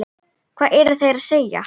Hvað eru þeir að segja?